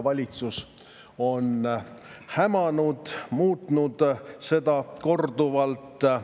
Valitsus on hämanud, muutnud seda korduvalt.